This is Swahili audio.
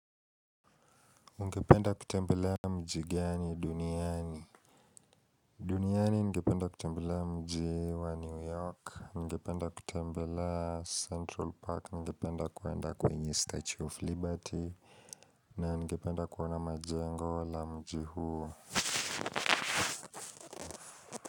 Ungependa kutembelea mji gani duniani duniani ningependa kutembelea mji wa New York, ningependa kutembelea Central Park, ningependa kuenda kwenye Statue of Liberty na ningependa kuona majengo wa mji huu.